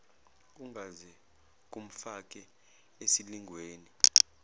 kungaze kumfake esilingweni